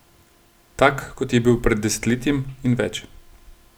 Tak, kot je bil pred desetletjem in več.